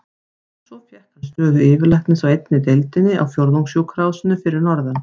Svo fékk hann stöðu yfirlæknis á einni deildinni á Fjórðungssjúkrahúsinu fyrir norðan.